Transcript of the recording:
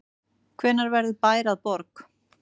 Hvenær verður bær að borg?